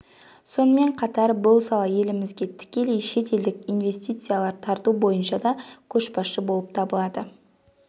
сонымен қатар бұл сала елімізге тікелей шет елдік инвестициялар тарту бойынша да көшбасшы болып табылады